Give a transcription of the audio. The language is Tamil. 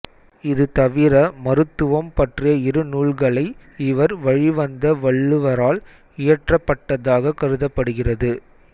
இது தவிர மருத்துவம் பற்றிய இரு நூல்களை இவர் வழிவந்த வள்ளுவரால் இயற்றப்பட்டதாக கருதப்படுகிறது